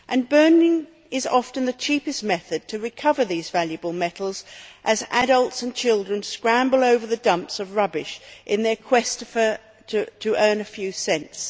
Burning is often the cheapest method to recover these valuable metals as adults and children scramble over the dumps of rubbish in their quest to earn a few cents.